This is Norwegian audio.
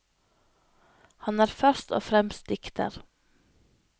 Han er først og fremst dikter.